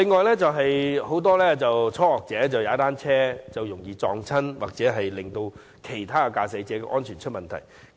此外，很多初學踏單車的人士容易跌倒，影響到其他駕駛者的安全。